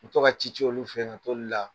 I bi toka ka ci ci olu fɛ ka toliw la